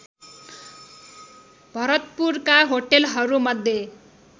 भरतपुरका होटलहरू मध्य